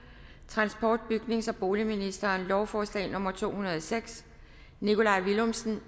transport bygnings og boligministeren lovforslag nummer l to hundrede og seks nikolaj villumsen